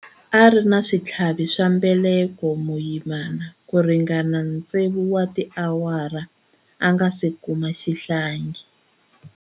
A ri na switlhavi swa mbeleko vuyimani ku ringana tsevu wa tiawara a nga si kuma xihlangi.